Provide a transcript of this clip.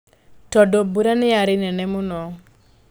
Tondũ mbura nĩ yarĩ nene mũno.